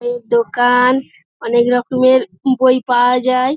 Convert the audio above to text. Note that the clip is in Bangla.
বইয়ের দোকাআন অনেক রকমের বই পাওয়া যায়।